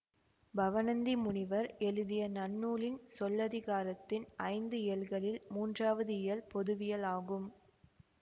பவணந்தி முனிவர் எழுதிய நன்னூலின் சொல்லதிகாரத்தின் ஐந்து இயல்களில் மூன்றாவது இயல் பொதுவியல் ஆகும்